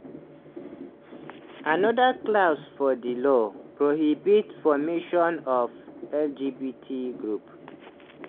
anoda clause for di law prohibit formation of lgbt groups.